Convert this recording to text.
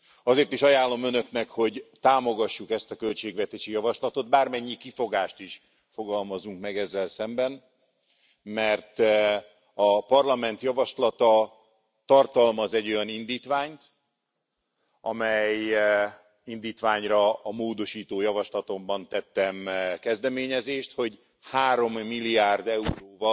Azért is ajánlom Önöknek, hogy támogassuk ezt a költségvetési javaslatot, bármennyi kifogást is fogalmazunk meg vele szemben, mert a Parlament javaslata tartalmaz egy olyan indítványt, amelyre a módosító javaslatomban tettem kezdeményezést, nevezetesen arra, hogy 3 milliárd euróval